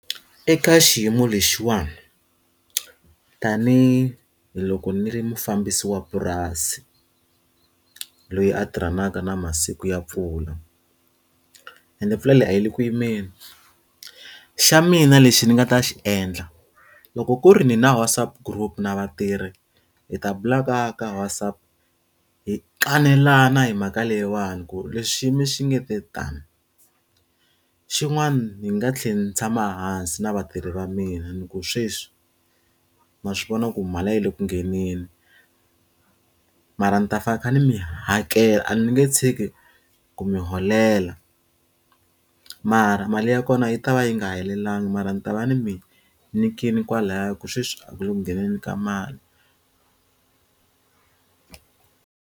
Eka xiyimo lexiwani tanihiloko ni ri mufambisi wa purasi loyi a tirhanaka na masiku ya mpfula, ende pfula leyi a yi le ku yimeli. Xa mina lexi ndzi nga ta xi endla loko ku ri ni na WhatsApp group na vatirhi, hi ta bula ka ka WhatsApp hi kanelana hi mhaka leyiwani ku ri leswi xiyimo xi nge ta tani. Xin'wana ndzi nga tlhela ndzi tshama hansi na vatirhi va mina ni ku sweswi ma swi vona ku mali a yi le ku ngheneni, mara ndzi ta pfa ni kha ndzi mi hakela a ni nge tshiki ku mi holela. Mara mali ya kona yi ta va yi nga helelangi, mara ni ta va ndzi mi nyikile kwalaya hikuva sweswi a ku le ku ngheni ka mali.